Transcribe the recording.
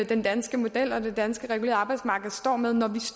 den danske model og det regulerede danske arbejdsmarked står med